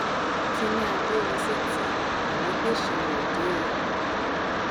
kiní agbórinsétí mà ló gbé ìṣe rẹ dé o